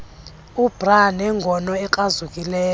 ubr nengono ekrazukileyo